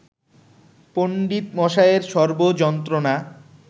পণ্ডিতমশায়ের সর্ব যন্ত্রণা